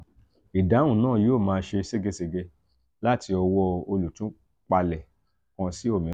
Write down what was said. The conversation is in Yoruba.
idahun naa yoo maa se segesege lati owo olutupale kan si omiran.